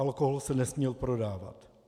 Alkohol se nesměl prodávat.